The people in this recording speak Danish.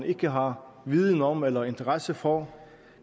ikke har viden om eller interesse for